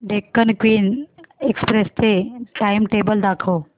Deccan Queen Express चे timetable दाखव